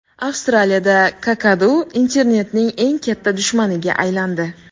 Avstraliyada kakadu internetning eng katta dushmaniga aylandi.